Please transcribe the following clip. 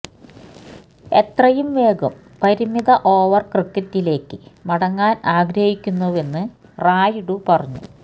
എത്രയും വേഗം പരിമിത ഓവര് ക്രിക്കറ്റിലേക്ക് മടങ്ങാന് ആഗ്രഹിക്കുന്നുവെന്ന് റായുഡു പറഞ്ഞു